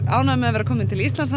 ánægður með að vera kominn til Íslands